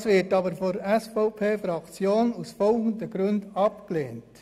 Das wird von der SVP-Fraktion aus folgenden Gründen abgelehnt: